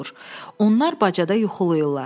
Onlar bacada yuxulayırlar.